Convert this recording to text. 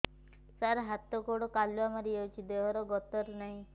ସାର ହାତ ଗୋଡ଼ କାଲୁଆ ମାରି ଯାଉଛି ଦେହର ଗତର ନାହିଁ